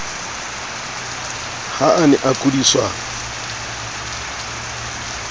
ha a ne a kudiswa